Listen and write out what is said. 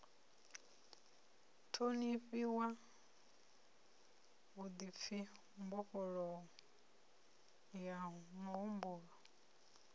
ṱhonifhiwa vhuḓipfi mbofholowo ya muhumbulo